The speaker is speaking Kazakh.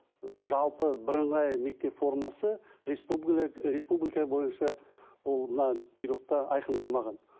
жалпы бірыңғай мектеп формасы республика бойынша ол мына бұйрықта айқындалмаған